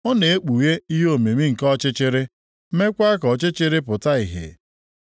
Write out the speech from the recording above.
Ọ na-ekpughe ihe omimi nke ọchịchịrị meekwa ka oke ọchịchịrị pụta ìhè.